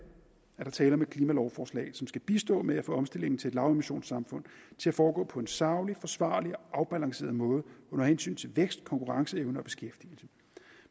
er der tale om et klimalovforslag som skal bistå med at få omstillingen til et lavemissionssamfund til at foregå på en saglig forsvarlig og afbalanceret måde under hensyn til vækst konkurrenceevne og beskæftigelse